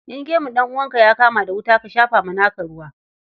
In gemun ɗan'uwanka ya kama da wuta, ka shafa wa naka ruwa.